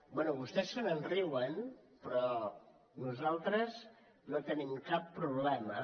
bé vostès se n’enriuen però nosaltres no tenim cap problema